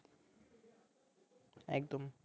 একদম